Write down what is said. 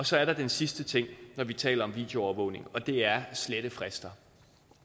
så er der den sidste ting når vi taler om videoovervågning og det er slettefrister